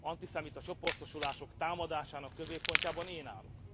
antiszemita csoportosulások támadásának középpontjában én állok.